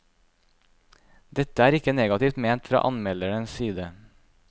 Dette er ikke negativt ment fra anmelderens side.